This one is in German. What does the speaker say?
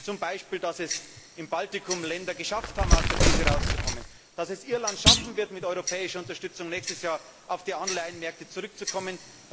Zum Beispiel darüber, dass es im Baltikum Länder geschafft haben, aus der Krise herauszukommen, dass es Irland schaffen wird, mit europäischer Unterstützung nächstes Jahr auf die Anleihenmärkte zurückzukommen.